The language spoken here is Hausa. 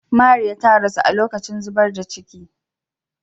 Mariya ta rasu a lokacin zubar da cikin.